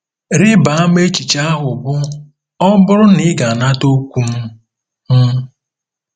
Rịba ama echiche ahụ bụ́ “ ọ bụrụ na ị ga-anata okwu m. m.